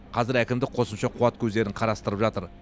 қазір әкімдік қосымша қуат көздерін қарастырып жатыр